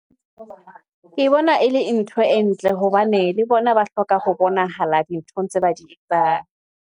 Ke bona ke bona e le ntho e ntle hobane le bona ba hloka ho bonahala dinthong tse ba di etsang.